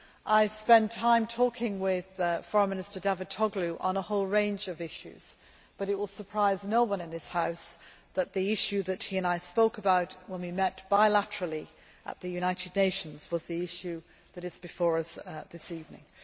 I spent time talking with Foreign Minister Davutoğlu on a whole range of issues, but it will surprise no one in this House that the issue that he and I spoke about when we met bilaterally at the United Nations was the issue that is before us this evening.